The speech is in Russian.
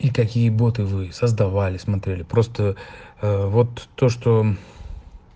и какие боты вы создавали смотрели просто вот то что